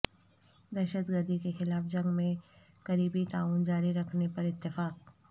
دہشت گردی کے خلاف جنگ میں قریبی تعاون جاری رکھنے پر اتفاق